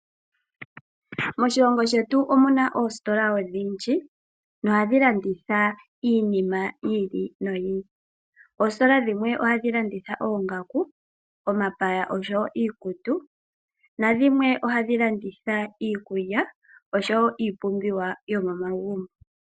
Moshilongo shetu omuna oositola odhindji nohadhi landitha iinima yi ili noyi ili. Oositola dhimwe ohadhi landitha oongaku, omapaya oshowo iikutu ,nadhimwe ohadhi landitha iikulya oshowo iipumbiwa yomomagumbo.